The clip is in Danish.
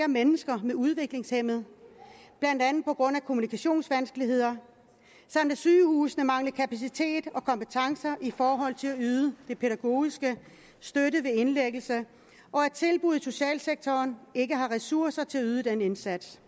mennesker med udviklingshæmning blandt andet på grund af kommunikationsvanskeligheder samt at sygehusene mangler kapacitet og kompetencer i forhold til at yde den pædagogiske støtte ved indlæggelse og at tilbud i socialsektoren ikke har ressourcer til at yde den indsats